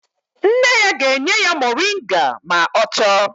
Nne ya ga-enye ya moringa ma ọ chọọ